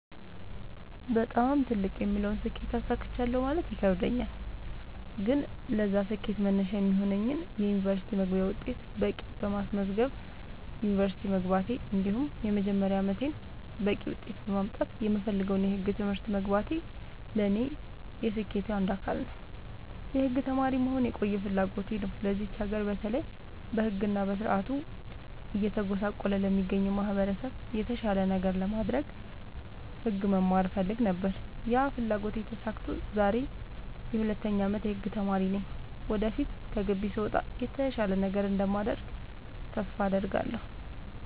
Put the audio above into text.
በጣም ትልቅ የምለውን ስኬት አሳክቻለሁ ማለት ይከብደኛል። ግን ለዛ ስኬት መነሻ የሚሆነኝን የ ዩኒቨርስቲ መግቢያ ውጤት በቂ በማስመዝገብ ዩንቨርስቲ መግባቴ እንዲሁም የመጀመሪያ አመቴን በቂ ውጤት በማምጣት የምፈልገውን የህግ ትምህርት መግባቴ ለኔ የስኬቴ አንዱ አካል ነው። የህግ ተማሪ መሆን የቆየ ፍላጎቴ ነው ለዚች ሀገር በተለይ በህግ እና በስርዓቱ እየተጎሳቆለ ለሚገኘው ማህበረሰብ የተሻለ ነገር ለማድረግ ህግ መማር እፈልግ ነበር ያ ፍላጎቴ ተሳክቶ ዛሬ የ 2ኛ አመት የህግ ተማሪ ነኝ ወደፊት ከግቢ ስወጣ የተሻለ ነገር እንደማደርግ ተስፋ አድርጋለሁ።